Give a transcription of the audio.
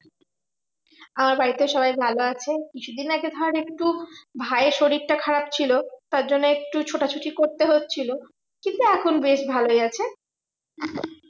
আমার বাড়িতে সবাই ভালো আছে। কিছু আগে ধর একটু ভায়ের শরীরটা খারাপ ছিল, তার জন্য একটু ছোটাছুটি করতে হচ্ছিলো। কিন্তু এখন বেশ ভালোই আছে।